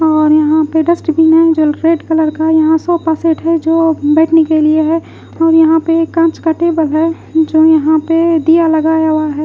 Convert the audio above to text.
और यहाँ पे डस्टबिन है जो रेड कलर का यहाँ सोफा सेट है जो बैठने के लिए है और यहाँ पे कांच का टेबल है जो यह पे दीया लगाया हुआ है।